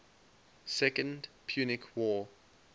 second punic war